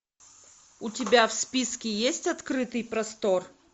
у тебя в списке есть открытый простор